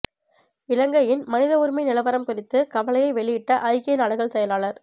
இலங்கையின் மனித உரிமை நிலவரம் குறித்து கவலையை வெளியிட்ட ஐக்கிய நாடுகள் செயலாளர்